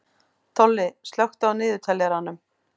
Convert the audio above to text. Tolli, slökktu á niðurteljaranum.